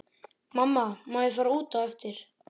Mamma má ég fara út á eftir?